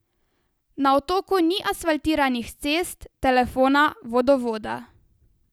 Na otoku ni asfaltiranih cest, telefona, vodovoda.